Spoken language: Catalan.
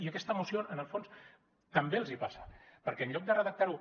i a aquesta moció en el fons també els passa perquè en lloc de redactar ho